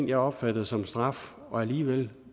jeg opfattede som straf og alligevel